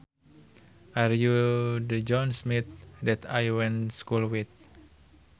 Are you the John Smith that I went school with